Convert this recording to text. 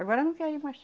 Agora não querem mais.